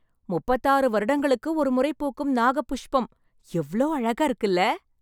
முப்பத்தாறு வருடங்களுக்கு ஒரு முறை பூக்கும் நாக புஷ்பம், எவ்ளோ அழகா இருக்குல்ல...